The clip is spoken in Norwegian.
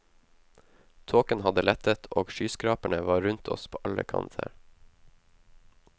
Tåken hadde lettet, og skyskraperne var rundt oss på alle kanter.